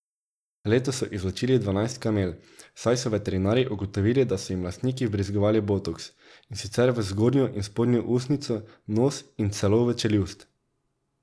Letos so izločili dvanajst kamel, saj so veterinarji ugotovili, da so jim lastniki vbrizgavali botoks, in sicer v zgornjo in spodnjo ustnico, nos in celo v čeljust.